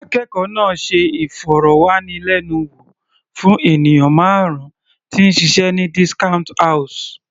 Akẹ́kọ̀ọ́ náà ṣe ìfọ̀rọ̀wánilẹ́nuwò fún ènìyàn márùn -un tí ń ṣiṣẹ́ ní discount house.